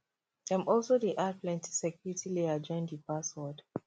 dem also dey add plenty security layer join de password